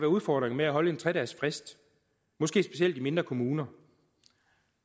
udfordringer ved at holde en tre dagesfrist måske specielt i mindre kommuner